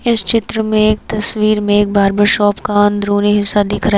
इस चित्र में एक तस्वीर में एक बार्बर शॉप का अंदरूनी हिस्सा दिख रहा है।